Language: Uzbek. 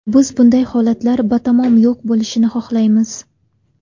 Biz bunday holatlar batamom yo‘q bo‘lishini xohlaymiz.